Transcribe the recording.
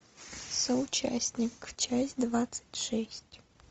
соучастник часть двадцать шесть